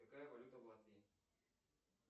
какая валюта в латвии